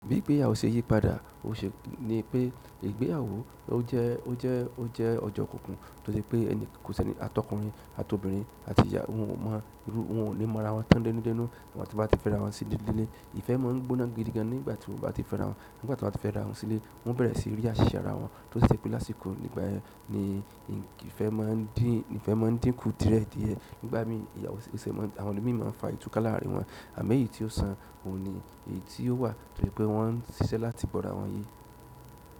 Bí ìgbéyàwó ṣe yí padà, ó ṣe pé ìgbéyàwó ó jẹ́ ọ̀jọ̀ kùkùn tó ṣe pé ẹni kò sí ẹni atọkùnrin àti obìnrin àti ìyàwó wọn, wọn ò ní mọ ara wọn tán dénú dénú nígbà tí wọ́n bá ti fẹ́ra wọn sílé. Ìfẹ́ máa ń gbóná gidi gan nígbà tí wọ́n bá ti fẹ́ra wọn. Nígbà tí wọn bá ti fera wọn sile wọn bere si yasera won tosi je pe lásìkò igbayen ni ìfẹ́ máà n diku diẹ díẹ̀. Nígbà mí ìgbéyàwó ẹsẹ̀ máa ń, àwọn ẹni mìíràn máa ń fa ìtùka láàrin wọn àmọ́ èyí tí ó san òun ni èyí tí ó wà tó jẹ́ pé wọ́n ń ṣiṣẹ́ láti bọ́ra wọn ní.